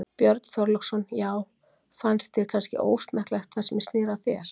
Björn Þorláksson: Já fannst þér kannski ósmekklegt það sem snéri að þér?